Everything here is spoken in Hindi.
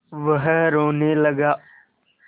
वह रोने लगा